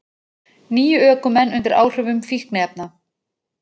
Níu ökumenn undir áhrifum fíkniefna